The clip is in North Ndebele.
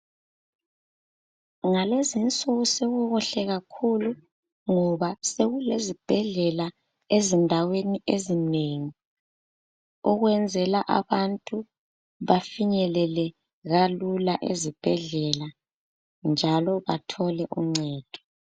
Ngalezinsuku sokukuhle kakhulu ngoba sokulezibhedlela ezindaweni ezinengi. Okuyenzela abantu bafinyelele kalula ezibhedlela, njalo bathole icedo